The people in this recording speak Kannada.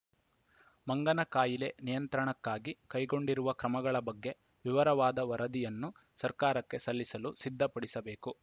ಮಂಗನ ಕಾಯಿಲೆ ನಿಯಂತ್ರಣಕ್ಕಾಗಿ ಕೈಗೊಂಡಿರುವ ಕ್ರಮಗಳ ಬಗ್ಗೆ ವಿವರವಾದ ವರದಿಯನ್ನು ಸರಕಾರಕ್ಕೆ ಸಲ್ಲಿಸಲು ಸಿದ್ಧಪಡಿಸಬೇಕು